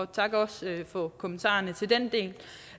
takker også for kommentarerne til den del